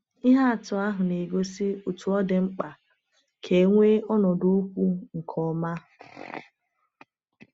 Ihe atụ ahụ na-egosi otú ọ dị mkpa ka e nwee ọnọdụ okwu nke ọma.